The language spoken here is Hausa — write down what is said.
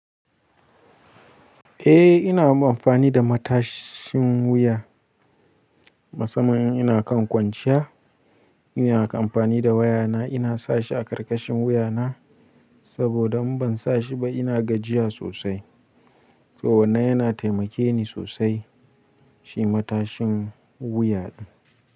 Eh ina amfani da matashin wuya. Masamman in ina kan kwanciya, ina kan amfani da wayana ina sashi a ƙarƙashin wuyana saboda in ban sa shi ba ina gajiya sosai. To wannan yana taimake ni sosai, shi matashin wuya ɗin.